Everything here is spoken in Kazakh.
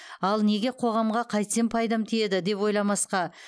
ал неге қоғамға қайтсем пайдам тиеді деп ойламасқа